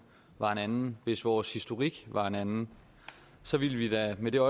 var en anden hvis vores historik var en anden så ville det da med det